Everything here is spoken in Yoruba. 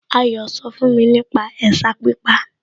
Ayọ̀ sọ fún mi nípa ẹ̀sà pípa